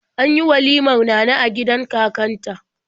An yi walimar Nana a gidan kakanta.